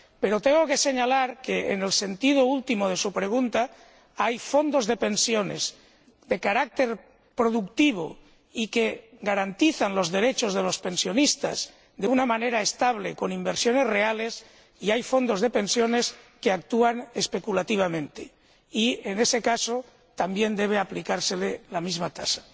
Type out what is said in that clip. Pero tengo que señalar que, en cuanto a la última parte de su pregunta, hay fondos de pensiones de carácter productivo y que garantizan los derechos de los pensionistas de una manera estable, con inversiones reales, y hay fondos de pensiones que actúan especulativamente y, en ese caso, también debe aplicárseles la misma tasa.